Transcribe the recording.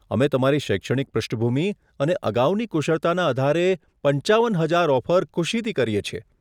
અમે તમારી શૈક્ષણિક પૃષ્ઠભૂમિ અને અગાઉની કુશળતાના આધારે પંચાવન હજાર ઓફર ખુશીથી કરીએ છીએ.